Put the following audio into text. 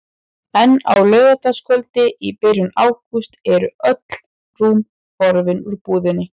En á laugardagskvöldi í byrjun ágúst eru öll rúm horfin úr búðinni.